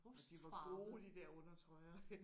Ja de var gode de der undertrøjer